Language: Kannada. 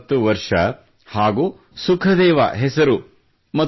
40 ವರ್ಷ ಹಾಗೂ ಸುಖದೇವ ಹೆಸರು